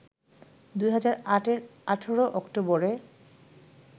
২০০৮ এর ১৮ অক্টোবরে